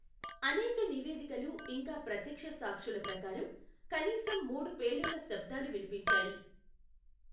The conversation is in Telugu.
అనేక నివేదికలు ఇంకా ప్రత్యక్ష సాక్షుల ప్రకారం, కనీసం మూడు పేలుళ్ల శబ్దాలు వినిపించాయి.